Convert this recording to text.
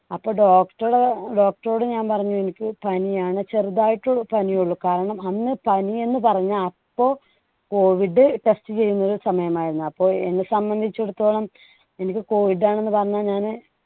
അപ്പോ doctor doctor ഓട് ഞാൻ പറഞ്ഞു എനിക്ക് പനിയാണ് ചെറുതായിട്ട് പനിയുള്ളൂ. കാരണം അന്ന് പനിയെന്നു പറഞ്ഞ അപ്പോ COVID test ചെയ്യുന്ന ഒരു സമയമായിരുന്നു. അപ്പോ എന്നെ സംബന്ധിച്ചിടത്തോളം എനിക്ക് COVID ആണെന്ന് പറഞ്ഞാൽ ഞാന്